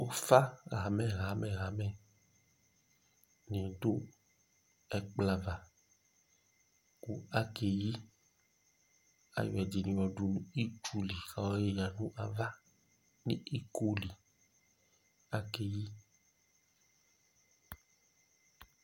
Ʋfa hamɛ hamɛ hamɛ ɔdu ɛkplɔ ava kʋ akeyi Ayɔ ɛdiní nɔ du nʋ itsu li kʋ ayɔ lila nʋ ava nʋ ikoli, akeyi